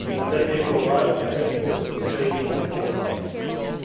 and that they provide adequate training for participants.